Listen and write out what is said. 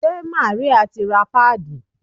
Ṣé Màríà ti ra páàdì?